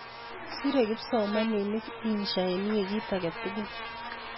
sere kipsomaninik insha en wikit aketukul